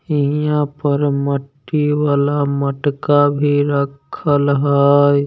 ये यहाँ पर मट्टी वाला मटका भी रखल हई।